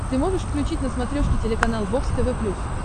ты можешь включить на смотрешке телеканал бокс тв плюс